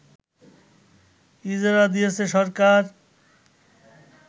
ইজারা দিয়েছে সরকার